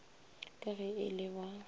ka ge e le ba